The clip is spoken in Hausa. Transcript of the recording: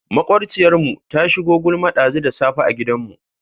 Maƙwabciyarmu ta shigo gulma ɗazu da safe a gidanmu.